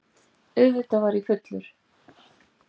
Auðvitað var ég fullur.